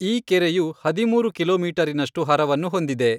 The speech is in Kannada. ಈ ಕೆರೆಯು ಹದಿಮೂರು ಕಿಲೋಮೀಟರಿನಷ್ಟು ಹರವನ್ನು ಹೊಂದಿದೆ.